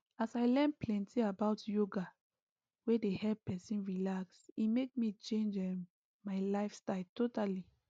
as i learn plenty about yoga wey dey help person relax e make me change um my lifestyle totally